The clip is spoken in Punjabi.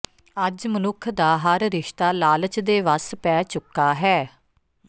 ਅੱਜ ਮਨੁੱਖ ਦਾ ਹਰ ਰਿਸ਼ਤਾ ਲਾਲਚ ਦੇ ਵੱਸ ਪੈ ਚੁੱਕਾ ਹੈ